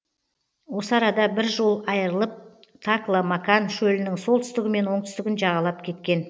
осы арада бір жол айырылып такла макан шөлінің солтүстігі мен оңтүстігін жағалап кеткен